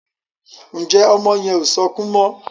Njé ọmọ yen o sọkún mo?